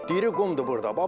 Diri qumdur burda.